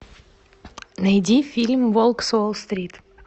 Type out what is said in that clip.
найди фильм волк с уолл стрит